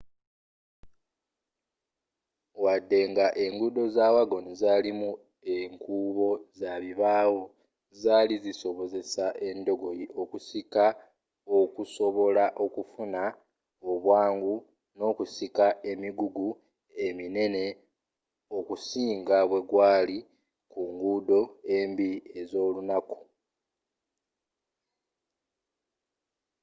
waddenga enguudo za wagon zalimu enkuubo zabibaawo zaali zisobozesa endogoyi okuzisika okusobola okufuna obwangu n'okusika emigugu eminene okusinga bwegwaali ku nguudo embi ez'olunaku